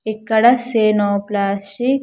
ఇక్కడ say no plastic .